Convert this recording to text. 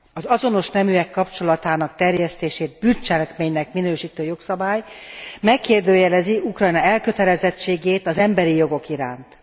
Az azonos neműek kapcsolatának terjesztését bűncselekménynek minősítő jogszabály megkérdőjelezi Ukrajna elkötelezettségét az emberi jogok iránt.